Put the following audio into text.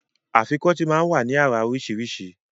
Afikọ́tì máa ń wá ní àrà oríṣiríṣi